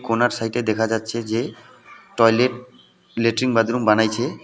কোণার সাইটে দেখা যাচ্ছে যে টয়লেট লেট্রিন বাদরুম বানাইছে।